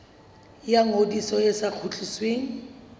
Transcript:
ya ngodiso e sa kgutlisweng